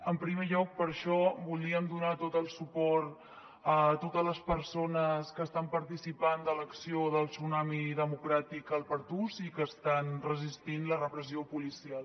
en primer lloc per això volíem donar tot el suport a totes les persones que estan participant de l’acció del tsunami democràtic al pertús i que estan resistint la repressió policial